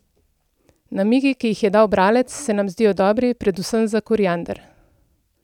Namigi, ki jih je dal bralec, se nam zdijo dobri, predvsem za koriander.